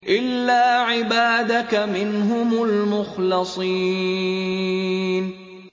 إِلَّا عِبَادَكَ مِنْهُمُ الْمُخْلَصِينَ